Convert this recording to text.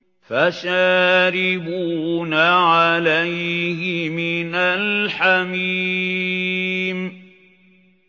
فَشَارِبُونَ عَلَيْهِ مِنَ الْحَمِيمِ